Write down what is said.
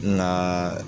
Nka